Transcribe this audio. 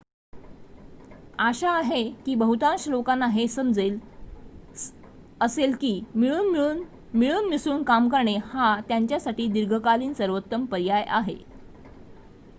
आशा आहे की बहुतांश लोकांना हे समजेल असेल की मिळून मिसळून काम करणे हा त्यांच्यासाठी दीर्घकालीन सर्वोत्तम पर्याय आहे